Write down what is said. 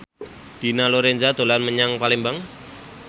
Dina Lorenza dolan menyang Palembang